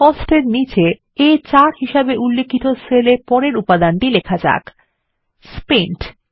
COSTS এর নীচে আ4 হিসাবে উল্লিখিত সেল এ পরের উপাদানটি লিখুন স্পেন্ট